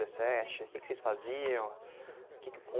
dezessete O que que vocês faziam? O que que